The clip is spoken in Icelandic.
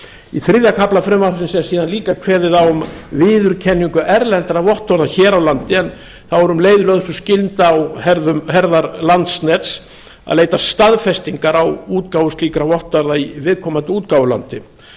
í þriðja kafla frumvarpsins er síðan líka kveðið á um viðurkenningu erlendra vottorða hér á landi en þá er um leið lögð sú skylda á herðar landsnets að leita staðfestingar á útgáfu slíkra vottorða í viðkomandi útgáfulandi